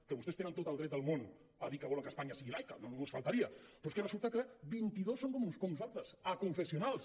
que vostès tenen tot el dret del món a dir que volen que espanya sigui laica només faltaria però és que resulta que vint i dos són com nosaltres aconfessionals